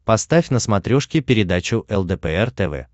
поставь на смотрешке передачу лдпр тв